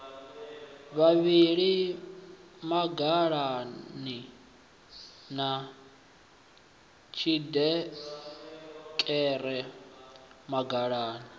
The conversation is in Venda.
vhavhili mangalani na tshiḓereke mangalani